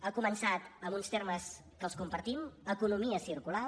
ha començat amb uns termes que els compartim economia circular